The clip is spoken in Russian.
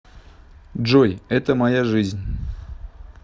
джой это моя жизнь